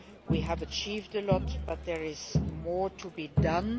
We have achieved a lot but there is more to be done.